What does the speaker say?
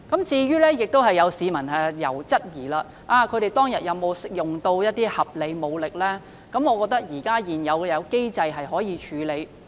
至於有市民質疑警方當天是否使用合理武力，我認為現有機制可以處理。